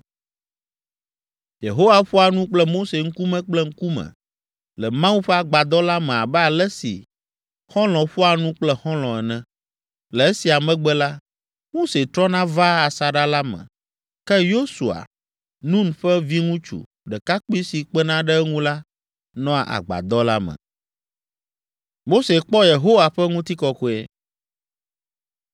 Yehowa ƒoa nu kple Mose ŋkume kple ŋkume le Mawu ƒe agbadɔ la me abe ale si xɔlɔ̃ ƒoa nu kple xɔlɔ̃ ene. Le esia megbe la, Mose trɔna vaa asaɖa la me, ke Yosua, Nun ƒe viŋutsu, ɖekakpui si kpena ɖe eŋu la, nɔa agbadɔ la me.